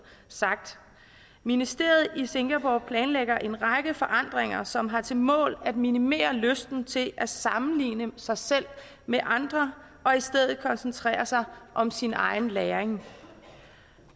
sagt ministeriet i singapore planlægger en række forandringer som har til mål at minimere lysten til at sammenligne sig selv med andre og i stedet koncentrere sig om sin egen læring